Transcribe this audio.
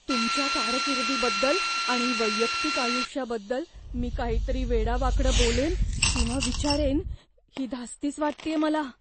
तुमच्या कारकिर्दीबद्दल आणि वैयक्तिक आयुष्याबद्दल मी काहीतरी वेडावाकडं बोलेन किंवा विचारेन ही धास्तीच वाटतेय मला.